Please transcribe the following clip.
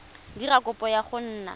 dira kopo ya go nna